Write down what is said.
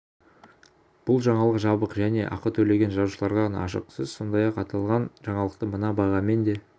бұл жаңалық жабық және ақы төлеген жазылушыларға ғана ашық сіз сондай-ақ аталған жаңалықты мына бағамен де